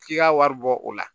K'i ka wari bɔ o la